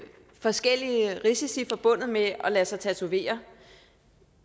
forskellige risici forbundet med at lade sig tatovere